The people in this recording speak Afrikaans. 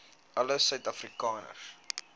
alle suid afrikaners